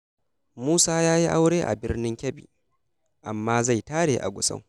Musa ya yi aure a Birnin Kebbi, amma zai tare a Gusau.